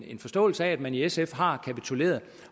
en forståelse af at man i sf har kapituleret